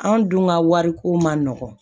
Anw dun ka wariko man nɔgɔn